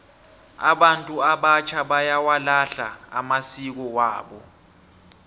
abantu abatjha bayawalahla amasiko wabo